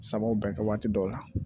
Sababuw bɛ kɛ waati dɔw la